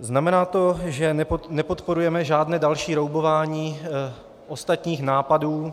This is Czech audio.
Znamená to, že nepodporujeme žádné další roubování ostatních nápadů,